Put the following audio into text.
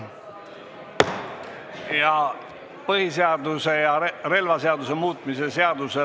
Ja päästeseaduse ja relvaseaduse muutmise seaduse ...